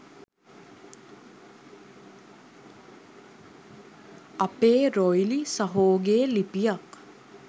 අපේ රොයිලි සහෝගේ ලිපියක්